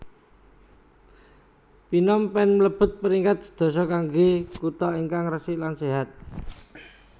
Phnom Penh mlebet peringkat sedoso kangge kuto ingkang resik lan sehat